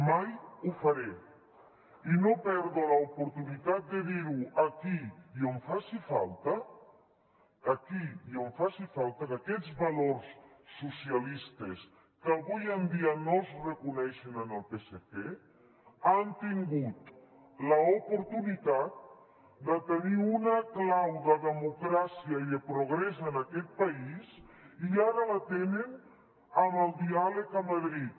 mai ho faré i no perdo l’oportunitat de dir ho aquí i on faci falta aquí i on faci falta que aquests valors socialistes que avui en dia no es reconeixen en el psc han tingut l’oportunitat de tenir una clau de democràcia i de progrés en aquest país i ara la tenen amb el diàleg a madrid